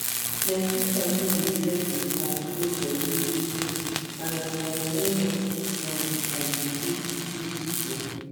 my sister no dey joke with her slow body routine and as i join am now i dey feel the peace too